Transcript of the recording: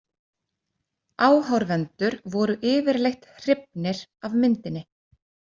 Áhorfendur voru yfirleitt hrifnir af myndinni.